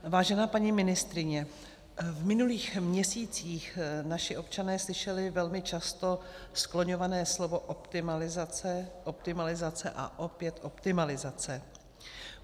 Vážená paní ministryně, v minulých měsících naši občané slyšeli velmi často skloňované slovo optimalizace, optimalizace a opět optimalizace.